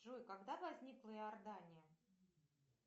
джой когда возникла иордания